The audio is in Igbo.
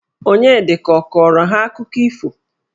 Onyedika ọ kọrọ ha akụkọ ifo?